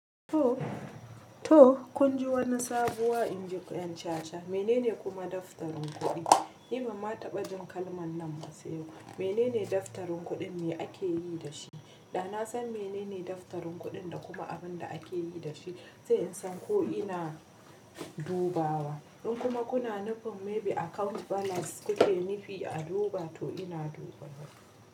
To kun ji wani sabuwa inji Yan chacha Menene kuma daftarin kuɗi? Ni banma taɓa jin kalman nan se yau Menene daftarin kuɗin me ake yi da shi? Da na san menene daftarin kuɗin da kuma abin da ake yi da shi sai in san ko ina dubawa In kuma kuna nufin maybe account balance kuke nufi a duba to ina dubawa.